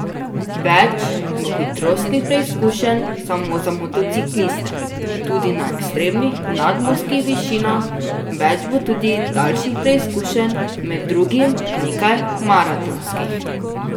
Več bo hitrostnih preizkušenj samo za motocikliste, tudi na ekstremnih nadmorskih višinah, več bo tudi daljših preizkušenj, med drugim nekaj maratonskih.